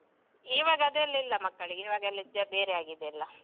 ಇವಾಗ ಅದೆಲ್ಲ ಇಲ್ಲ ಮಕ್ಕಳಿಗೆ ಇವಾಗೆಲ್ಲ ಇದೇ ಬೇರೆ ಆಗಿದೆ ಎಲ್ಲ.